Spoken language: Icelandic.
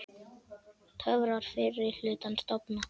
Töfrar fyrri hlutans dofna.